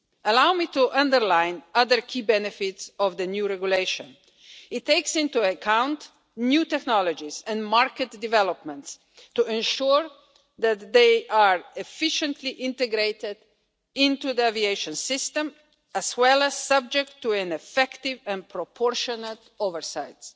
Allow me to underline other key benefits of the new regulation. It takes into account new technologies and market developments to ensure that they are efficiently integrated into the aviation system as well as subject to effective and proportionate oversights.